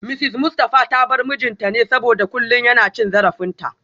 Mrs Mustafa ta bar mijinta ne saboda kullum yana cin zarafinta